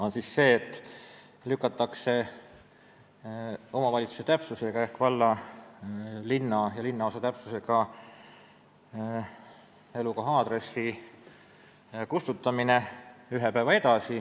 Esiteks lükatakse edasi omavalitsuse ehk valla, linna või linnaosa täpsusega elukoha aadressi kustutamine ühe päeva võrra.